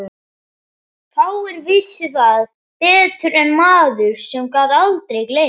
Fáir vissu það betur en maður sem gat aldrei gleymt.